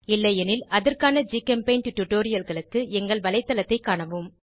இல்லையெனில் அதற்கான ஜிகெம்பெய்ண்ட் டுடோரியல்களுக்கு எங்கள் வலைத்தளத்தைக் காணவும்